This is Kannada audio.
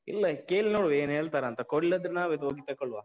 ಇಲ್ಲ, ಕೇಳಿ ನೋಡ್ವ ಏನ್ ಹೇಳ್ತಾರಂತ, ಕೊಡ್ಲಿಲ್ಲಾದ್ರೆ ನಾವೇ ಹೋಗಿ ತೆಕೊಳ್ಳುವ.